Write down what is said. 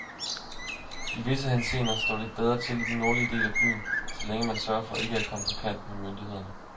I visse henseender står det bedre til i den nordlige del af byen, så længe man sørger for ikke at komme på kant med myndighederne.